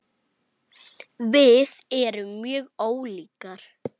Við erum mjög ólíkar.